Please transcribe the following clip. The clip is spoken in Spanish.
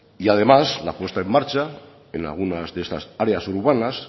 y además la puesta en marcha en algunas de esas áreas urbanas